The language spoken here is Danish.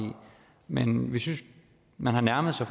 men vi synes at man har nærmet sig